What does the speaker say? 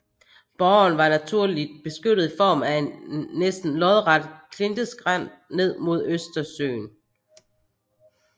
Borgen var naturligt beskyttet i form af en næsten lodret klinteskrænt ned mod Østersøen